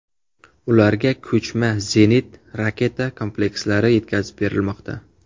Ularga ko‘chma zenit raketa komplekslari yetkazib berilmoqda.